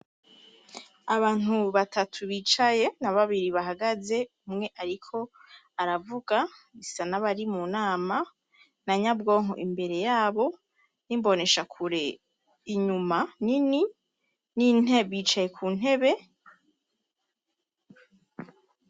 Abantu batatu bicaye na babiri bahagaze, umwe ariko aravuga bisa n'abari mu nama na nyabwonko imbere yabo n'imboneshakure inyuma nini bicaye ku ntebe.